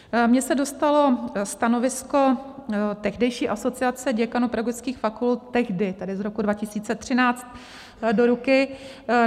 Mně se dostalo stanovisko tehdejší Asociace děkanů pedagogických fakult tehdy, tedy z roku 2013, do ruky.